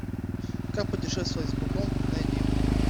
как путешествовать с быком найди